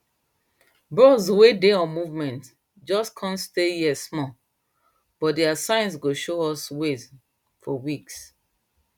birds wey dey on movement just come stay here smallbuy their signs go show us way for weeks